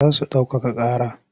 Za su ɗaukaka ƙara.